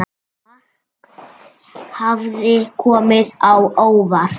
Margt hafði komið á óvart.